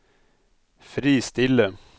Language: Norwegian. fristille